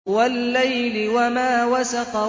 وَاللَّيْلِ وَمَا وَسَقَ